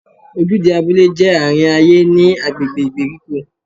Ojúde abúlé jẹ́ àárín ayé ní agbègbè ìgbèríko.